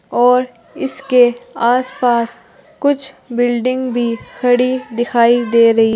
और इसके आस पास कुछ बिल्डिंग भी खड़ी दिखाई दे रही--